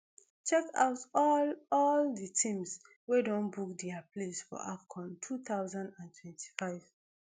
check out all all di teams wey don book dia place for afcon two thousand and twenty-five